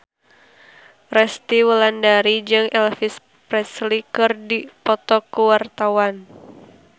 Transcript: Resty Wulandari jeung Elvis Presley keur dipoto ku wartawan